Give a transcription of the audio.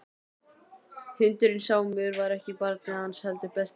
Hundurinn Sámur var ekki barnið hans heldur besti vinurinn.